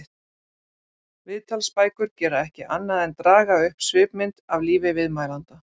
Viðtalsbækur gera ekki annað en draga upp svipmynd af lífi viðmælanda.